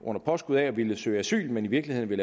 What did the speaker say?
under påskud af at ville søge asyl men i virkeligheden vil